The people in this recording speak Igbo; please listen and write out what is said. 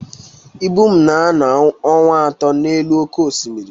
Ibum na-anọ ọnwa atọ n'elu oké osimiri